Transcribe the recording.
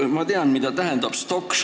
Ma tean, mida tähendab "Stok!